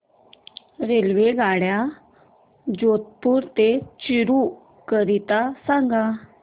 रेल्वेगाड्या जोधपुर ते चूरू करीता सांगा